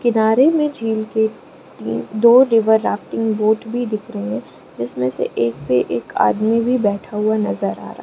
किनारे में झील के ती दो रिवर राफ्टिंग बोट भी दिख रहे हैं जिसमें से एक पे एक आदमी भी बैठा हुआ नजर आ रहा है।